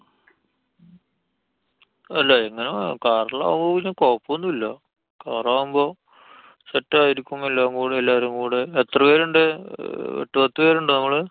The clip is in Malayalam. അല്ല. എന്നാ car ല്‍ ആവുമ്പോ പിന്നെ കൊഴപ്പോന്നുല്ലാ. car ആവുമ്പോ set ആയിരിക്കും. എല്ലാം കൂടെ. എല്ലാരും കൂടെ. എത്ര പേരുണ്ട്? ഏർ എട്ടുപത്തു പേരുണ്ടോ നമ്മള്?